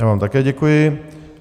Já vám také děkuji.